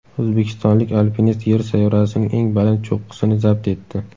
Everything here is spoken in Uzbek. O‘zbekistonlik alpinist Yer sayyorasining eng baland cho‘qqisini zabt etdi.